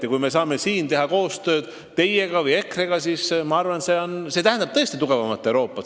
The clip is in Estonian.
Ja kui me saame siin EKRE-ga koostööd teha, siis ma arvan, see tähendab tõesti tugevamat Euroopat.